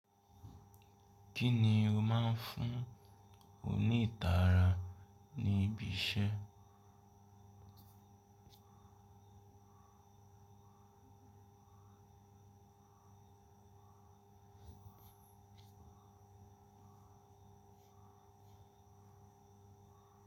Kí ni o máa ń fún o ní ìtara ní ibi iṣẹ́?